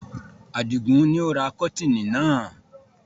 Adigun ni ó ra kọ́tiinì náà